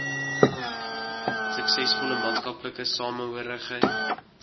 suksesvolle maatskaplike samehorigheid